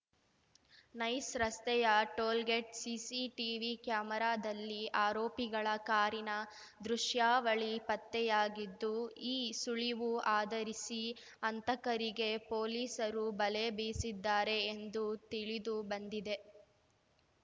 nice ರಸ್ತೆಯ tollgate CCTV ಕ್ಯಾಮೆರಾದಲ್ಲಿ ಆರೋಪಿಗಳ ಕಾರಿನ ದೃಶ್ಯಾವಳಿ ಪತ್ತೆಯಾಗಿದ್ದು ಈ ಸುಳಿವು ಆಧರಿಸಿ ಹಂತಕರಿಗೆ ಪೊಲೀಸರು ಬಲೆ ಬೀಸಿದ್ದಾರೆ ಎಂದು ತಿಳಿದು ಬಂದಿದೆ